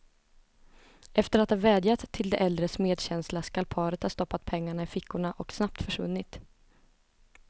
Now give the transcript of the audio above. Efter att ha vädjat till de äldres medkänsla skall paret ha stoppat pengarna i fickorna och snabbt försvunnit.